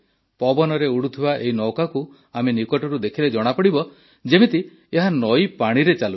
ପବନରେ ଉଡ଼ୁଥିବା ଏହି ନୌକାକୁ ଆମେ ନିକଟରୁ ଦେଖିଲେ ଜଣାପଡ଼ିବ ଯେମିତି ଏହା ନଈପାଣିରେ ଚାଲୁଛି